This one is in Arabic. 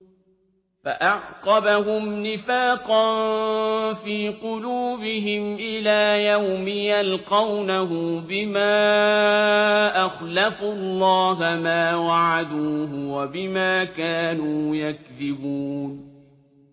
فَأَعْقَبَهُمْ نِفَاقًا فِي قُلُوبِهِمْ إِلَىٰ يَوْمِ يَلْقَوْنَهُ بِمَا أَخْلَفُوا اللَّهَ مَا وَعَدُوهُ وَبِمَا كَانُوا يَكْذِبُونَ